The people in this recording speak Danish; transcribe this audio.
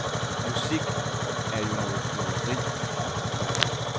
Musik er jo noget føleri. punktum